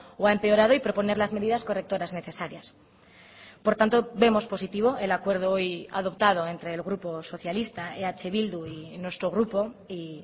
o ha empeorado y proponer las medidas correctoras necesarias por tanto vemos positivo el acuerdo hoy adoptado entre el grupo socialista eh bildu y nuestro grupo y